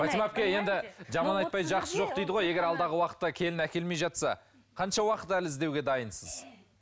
фатима әпке енді жаман айтпай жақсы жоқ дейді ғой егер алдағы уақытта келін әкелмей жатса қанша уақыт әлі іздеуге дайынсыз